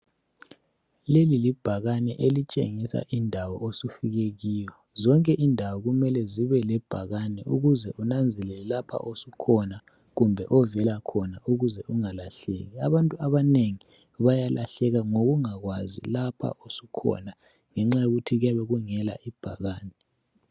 Leli libhakane elitshengisa indawo osufike kiyo. Zonke indawo kumele zibe lebhakane ukuze unanzelele lapha osukhona kumbe ovela khona ukuze ungalahleki. Abantu abanengi bayalahleka ngokungakwazi lapha osukhona ngenxa yokuthi kuyabe kungela ibhakane.